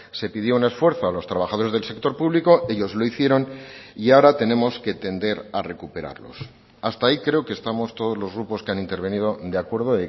se pidió un esfuerzo a los trabajadores del sector público ellos lo hicieron y ahora tenemos que tender a recuperarlos hasta ahí creo que estamos todos los grupos que han intervenido de acuerdo